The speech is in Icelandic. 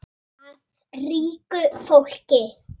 Af ríku fólki?